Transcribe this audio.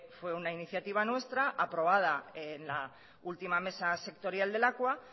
fue una iniciativa nuestra aprobada en la última mesa sectorial de lakua